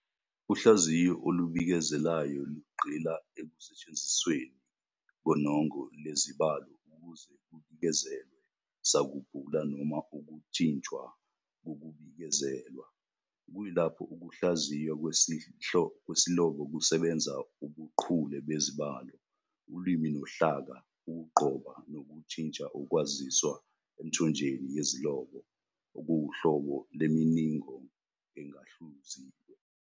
Uhlaziyo olubikezelayo lugxila ekusetshenzisweni konongo lezibalo ukuze kubikezelwe sakubhula noma ukujinjwa kokubikezelwa, kuyilapho ukuhlaziywa kwesilobo kusebenza ubuchule bezibalo, ulimi nohlaka ukugqoba nokujinja ukwaziswa emthonjeni yezilobo, okuwuhlobo lemininingo engahluziwe.